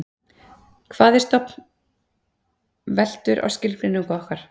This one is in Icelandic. Hvað er stofn veltur á skilgreiningu okkar.